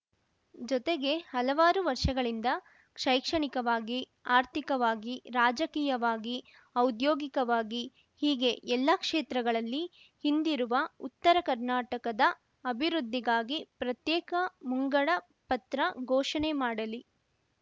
ಜೊತೆಗೆ ಹಲವಾರು ವರ್ಷಗಳಿಂದ ಶೈಕ್ಷಣಿಕವಾಗಿ ಆರ್ಥಿಕವಾಗಿ ರಾಜಕೀಯವಾಗಿ ಔದ್ಯೋಗಿಕವಾಗಿ ಹೀಗೆ ಎಲ್ಲಾ ಕ್ಷೇತ್ರಗಳಲ್ಲಿ ಹಿಂದಿರುವ ಉತ್ತರ ಕರ್ನಾಟಕದ ಅಭಿವೃದ್ಧಿಗಾಗಿ ಪ್ರತ್ಯೇಕ ಮುಂಗಡ ಪತ್ರ ಘೋಷಣೆ ಮಾಡಲಿ